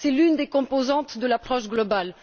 C'est l'une des composantes de l'approche globale.